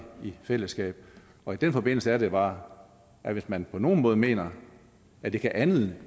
i fællesskab og i den forbindelse er det bare at hvis man på nogen måde mener at det kan andet